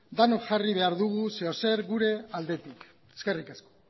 denok jarri behar dugu zer edo zer gure aldetik eskerrik asko